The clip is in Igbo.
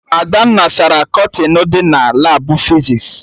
Adanna sara kọtịnụ dị na Labụ fizis